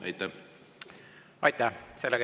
Aitäh!